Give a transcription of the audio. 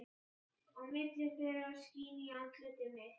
Á milli þeirra skín í andlit mitt.